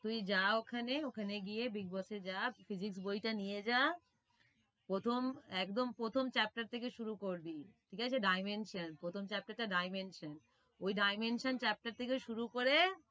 তুই যা ওখানে ওখানে গিয়ে big boss এ যা physics বইটা নিয়ে যা প্রথম একদম প্ৰথম chapter থেকে শুরু করবি, ঠিক আছে? dimension প্রথম chapter টা dimension ওই dimension chapter থেকে শুরু করে,